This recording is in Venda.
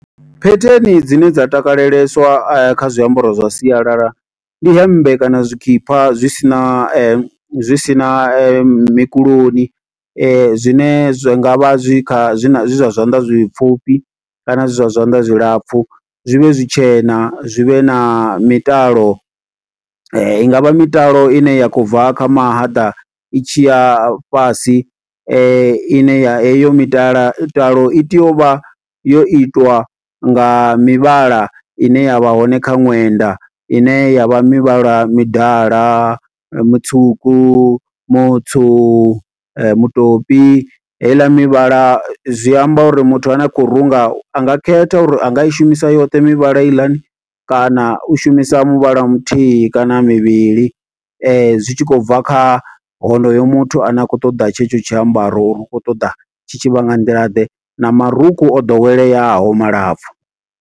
Phetheni dzine dza takaleleswa kha zwiambaro zwa sialala, ndi hemmbe kana zwikhipha zwi si na, zwi si na mukuloni. Zwine zwi ngavha zwi kha, zwi na, zwi zwa zwanḓa zwipfufhi kana zwi zwa zwanḓa zwilapfu. Zwi vhe zwi tshena zwi vhe na mitalo, i ngavha mitalo ine ya khou bva kha mahaḓa, i tshi ya fhasi, ine ya heyo mitala talo i tea u vha yo itiwa nga mivhala ine yavha hone kha ṅwenda. Ine yavha mivhala midala, mutswuku, mutswu, mutoli. Heiḽa mivhala, zwi amba uri muthu ane a khou runga anga khetha uri anga i shumisa yoṱhe mivhala heiḽani, kana u shumisa muvhala wa muthihi kana mivhili. Zwi tshi khou bva kha honoyo muthu ane a khou ṱoḓa tshe tsho tshiambaro, uri u khou ṱoḓa tshi tshi vha nga nḓila ḓe, na marukhu o ḓoweleaho malapfu.